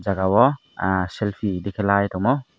o jaga o ah selpi tikalai tongmo.